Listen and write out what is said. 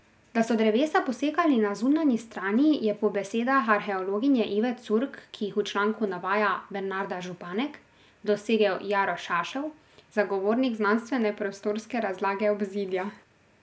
Da so drevesa posekali na zunanji strani, je po besedah arheologinje Ive Curk, ki jih v članku navaja Bernarda Županek, dosegel Jaro Šašel, zagovornik znanstvene prostorske razlage obzidja.